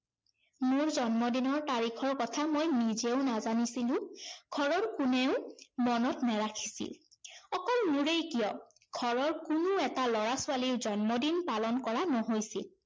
মোৰ জন্মদিনৰ তাৰিখৰ কথা মই নিজেও নেজানিছিলো, ঘৰৰ কোনেও মনত নেৰাখিছিল। অকল মোৰেই কিয়, ঘৰৰ কোনো এটা লৰা-ছোৱালীৰ জন্মদিন পালন কৰা নহৈছিল।